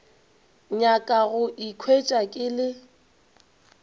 nyaka go ikhwetša ke le